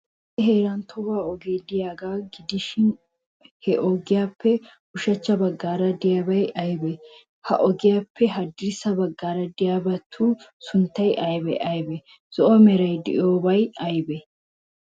Issi heeran tohuwaa ogee de'iyaagaa gidishin, he ogiyaappe ushachcha baggaara de'iyabay aybee? Ha ogiyaappe haddirssa baggaara de'iyabatu sunttay aybee aybee? Zo'o meray de'iyoobay aybee?